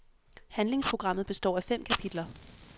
Handlingsprogrammet består af fem kapitler.